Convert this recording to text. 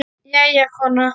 Jæja, kona.